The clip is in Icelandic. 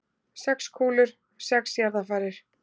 Sex kúlur, sex jarðarfarir.